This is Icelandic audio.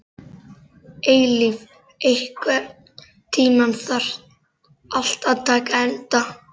Eilíf, einhvern tímann þarf allt að taka enda.